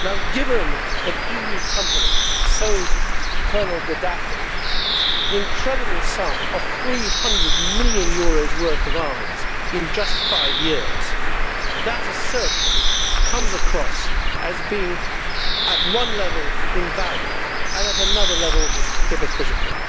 Given that EU companies sold Colonel Gaddafi the incredible sum of 300 million euros' worth of arms in just five years, that assertion comes across as being on one level invalid and on another level hypocritical.